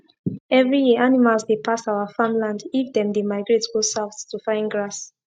every year animals dey pass our farm land if them dey migrate go south to find grass